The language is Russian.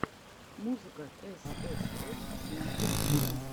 музыка эс эс эс снайпер вульф